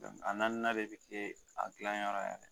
A naani na de bɛ kɛ a dilanyɔrɔ yɛrɛ.